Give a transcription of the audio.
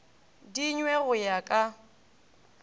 di nwe go ya ka